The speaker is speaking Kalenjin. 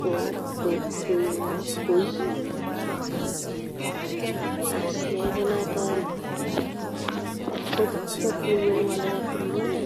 ko koi as nerupe noto konyumnyumi ng'alekap tililindo.